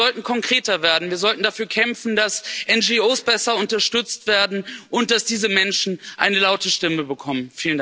Wir sollten konkreter werden, wir sollten dafür kämpfen, dass NGOs besser unterstützt werden und dass diese Menschen eine laute Stimme bekommen.